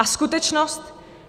A skutečnost?